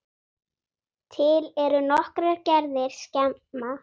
Til eru nokkrar gerðir skema.